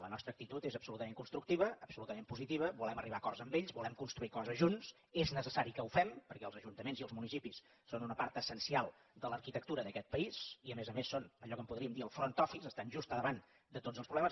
la nostra actitud és absolutament constructiva absolutament positiva volem arribar a acords amb ells volem construir coses junts és necessari que ho fem perquè els ajuntaments i els municipis són una part essencial de l’arquitectura d’aquest país i a més a més són allò que en podríem dir el front officeels problemes